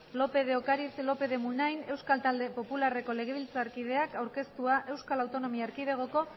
lópez de ocariz lópez de munain euskal talde popularreko legebiltzarkideak aurkeztua euskal autonomia erkidegoko